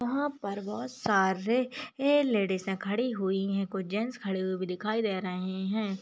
वहां पर बहुत सारे ए लेडिजे खड़ी हुई है कोई जेंट्स खड़े हुए भी दिखाई दे रहे हैं।